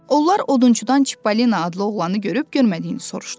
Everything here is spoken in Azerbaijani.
Onlar odunçudan Çippolino adlı oğlanı görüb görmədiyini soruşdular.